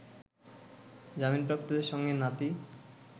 জামিনপ্রাপ্তদের সঙ্গে নাতি